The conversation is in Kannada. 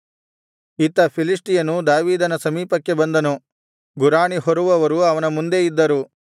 ಇತ್ತ ಫಿಲಿಷ್ಟಿಯನೂ ದಾವೀದನ ಸಮೀಪಕ್ಕೆ ಬಂದನು ಗುರಾಣಿ ಹೊರುವವರು ಅವನ ಮುಂದೆ ಇದ್ದರು